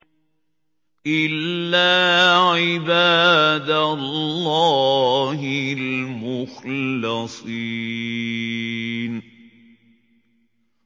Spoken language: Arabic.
إِلَّا عِبَادَ اللَّهِ الْمُخْلَصِينَ